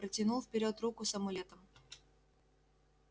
протянул вперёд руку с амулетом